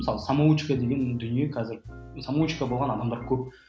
мысалы самоучка деген дүние қазір самоучка болған адамдар көп